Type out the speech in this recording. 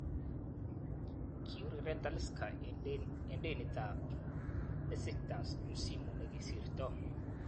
Kiureren Talisca eng denitab Besitkas msimu nekisirto.